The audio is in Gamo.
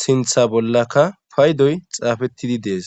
sintha bollaka paydoy xaafettidi dees